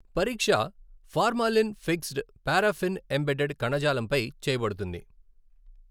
పరీక్ష formalin fixed, paraffin embedded కణజాలంపై చేయబడుతుంది.